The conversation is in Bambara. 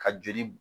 Ka joli